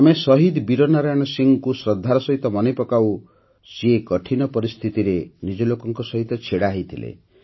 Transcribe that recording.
ଆମେ ସହିଦ ବୀର ନାରାୟଣ ସିଂହଙ୍କୁ ଶ୍ରଦ୍ଧାର ସହିତ ମନେ ପକାଉ ଯିଏ କଠିନ ପରିସ୍ଥିତିରେ ନିଜ ଲୋକଙ୍କ ସହିତ ଛିଡ଼ା ହୋଇଥିଲେ